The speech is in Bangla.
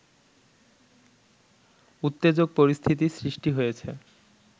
উত্তেজক পরিস্থিতি সৃষ্টি হয়েছে